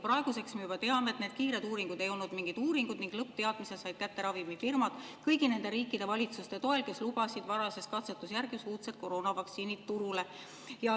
Praeguseks me juba teame, et need kiired uuringud ei olnud mingid uuringud ning lõppteadmise said ravimifirmad kätte kõigi nende riikide valitsuste toel, kes lubasid varases katsetusjärgus uudsed koroonavaktsiinid turule.